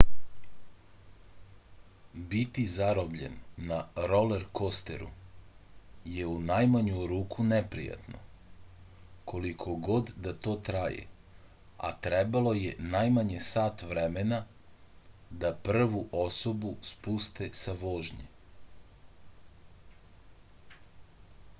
biti zarobljen na rolerkosteru je u najmanju ruku neprijatno koliko god da to traje a trebalo je najmanje sat vremena da prvu osobu spuste sa vožnje